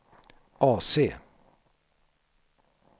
AC